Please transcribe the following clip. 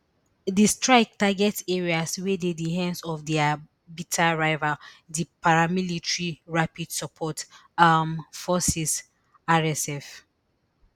di strike target areas wey dey di hands of dia bitter rival di paramilitary rapid support um forces rsf